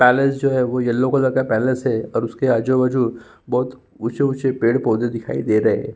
Palace जो है वो येलो कलर का पैलेस है। उसके आजू-बाजू बहुत उच्चे उच्चे पेड़ पौधे दिखाई दे रहे --